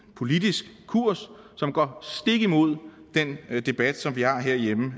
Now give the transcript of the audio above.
politisk kurs som går stik imod den debat som vi har herhjemme